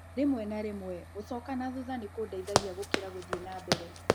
Rĩmwe na rĩmwe, gũcoka na thutha nĩ kũndeithagia gũkĩra gũthiĩ na mbere.